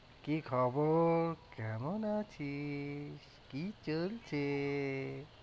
কি খবর কেমন আছিস? কি চলছে?